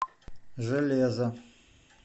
железо